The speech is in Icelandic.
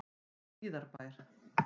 Hlíðarbæ